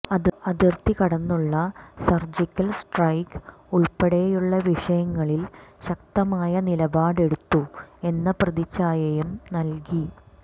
അതിർത്തി കടന്നുള്ള surgical strike ഉൾപ്പെടെയുള്ള വിഷയങ്ങളിൽ ശക്തമായ നിലപാടെടുത്തു എന്ന പ്രതിച്ഛായയും നൽകി